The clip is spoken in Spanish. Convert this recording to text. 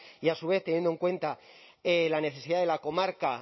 y a su vez teniendo en cuenta la necesidad de la comarca